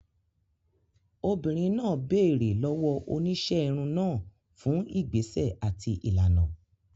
Obìnrin náà béèrè lọ́wọ́ oníṣẹ́ irun náà fún ìgbésẹ̀ àti ìlànà.